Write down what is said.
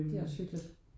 Det er også hyggeligt